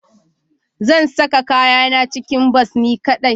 Zan saka kayana cikin bas ni kadai